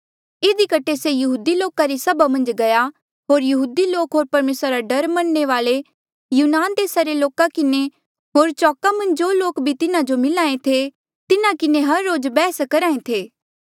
इधी कठे से यहूदी लोका री सभा मन्झ गया होर यहूदी लोक होर परमेसरा रा डर मनणे वाले यूनान देसा रे लोका किन्हें होर चौका मन्झ जो भी लोक तिन्हा जो मिल्हा ऐें थे तिन्हा किन्हें हर रोज बैहस करहा ऐें थे